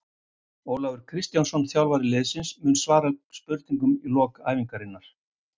Ólafur Kristjánsson þjálfari liðsins mun svara spurningum í lok æfingarinnar.